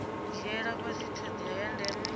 dzhiela fhasi thodea ya ndeme